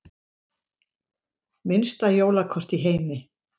Minnsta jólakort í heimi